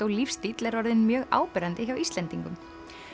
lífstíll er orðinn mjög áberandi hjá Íslendingum